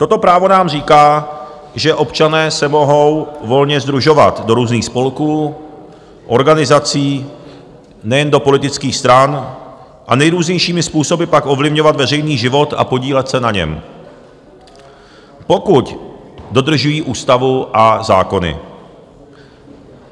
Toto právo nám říká, že občané se mohou volně sdružovat do různých spolků, organizací, nejen do politických stran, a nejrůznějšími způsoby pak ovlivňovat veřejný život a podílet se na něm, pokud dodržují ústavu a zákony.